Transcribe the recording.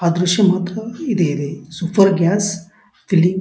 ಆಹ್ಹ್ ದ್ರಶ್ಯ ಇದೆ ಈ ಸೂಪರ್ ಗ್ಯಾಸ್ ಇಲ್ಲಿ --